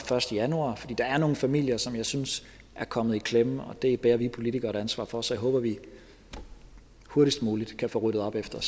første januar fordi der er nogle familier som jeg synes er kommet i klemme og det bærer vi politikere et ansvar for så jeg håber at vi hurtigst muligt kan få ryddet op efter